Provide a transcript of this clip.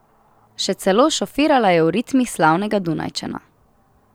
Še celo šofirala je v ritmih slavnega Dunajčana.